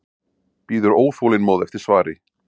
Bíður óþolinmóð eftir svari.